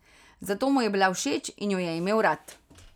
Zato mu je bila všeč in jo je imel rad.